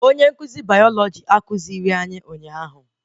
Onye nkụzi bayalọjị ekuzighi anyị ụnyaahụ